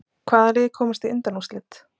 Hvaða lið komast í undanúrslit?